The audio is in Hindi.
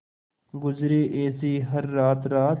गुजरे ऐसी हर रात रात